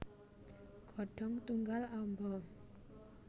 Godhong tunggal amba